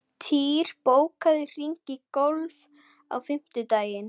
Týr, bókaðu hring í golf á fimmtudaginn.